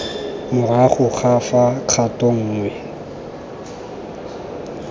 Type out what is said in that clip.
morago ga fa kgato nngwe